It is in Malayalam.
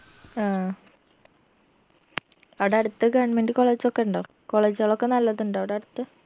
ആ അവിടടുത്ത് government colleges ഒക്കെ ഇണ്ടോ college കളൊക്കെ നല്ലതുണ്ടോ അവിടടുത്ത്